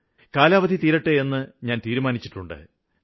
കാലാവധി തീരുന്നെങ്കില് തീരട്ടെയെന്ന് ഞാന് തീരുമാനിച്ചിട്ടുണ്ട്